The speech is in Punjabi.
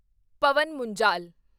ਪਵਨ ਮੁੰਜਾਲ